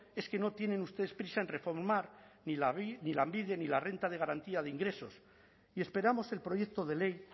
es que no tienen ustedes prisa en reformar lanbide ni la renta de garantía de ingresos y esperamos el proyecto de ley